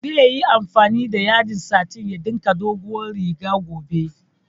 Zai yi amfani da yadin satin ya ɗinka dogowar riga gobe